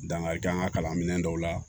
Dankari kɛ an ka kalanminɛn dɔw la